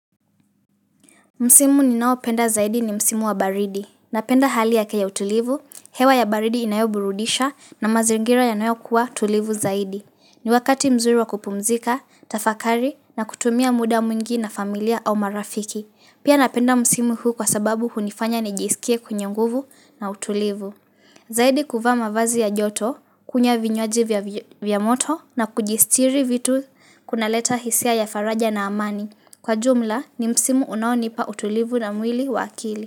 Msimu ninaopenda zaidi ni msimu wa baridi. Napenda hali yake ya utulivu, hewa ya baridi inayoburudisha na mazingira yanayokuwa tulivu zaidi. Ni wakati mzuri wa kupumzika, kutafakari na kutumia muda mwingi na familia au marafiki. Pia napenda msimu huu kwa sababu hunifanya nijisikie mwenye nguvu na mtulivu. Zaidi kuvaa mavazi ya joto, kunywa vinywaji vya moto na kujisitiri vitu kunaleta hisia ya faraja na amani. Kwa jumla ni msimu unaonipa utulivu wa mwili wa akili.